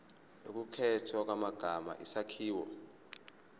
ukukhethwa kwamagama isakhiwo